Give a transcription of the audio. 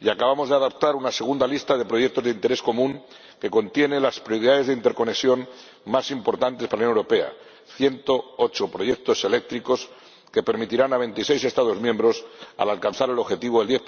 Y acabamos de adoptar una segunda lista de proyectos de interés común que contiene las prioridades de interconexión más importantes para la Unión Europea 108 proyectos eléctricos que permitirán a veintiséis Estados miembros alcanzar el objetivo del 10